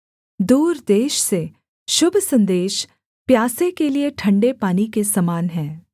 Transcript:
दूर देश से शुभ सन्देश प्यासे के लिए ठंडे पानी के समान है